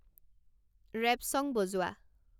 rap song বজোৱা